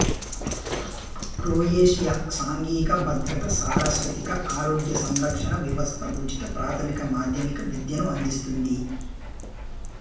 Croatia సాంఘిక భద్రత సారస్వతిక ఆరోగ్య సంరక్షణ వ్యవస్థ ఉచిత ప్రాథమిక మాధ్యమిక విద్యను అందిస్తుంది